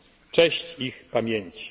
Cześć ich pamięci.